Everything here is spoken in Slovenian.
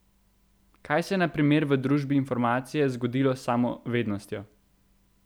Kaj se je na primer v družbi informacije zgodilo s samo vednostjo?